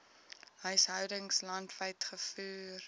huishoudings landwyd gevoer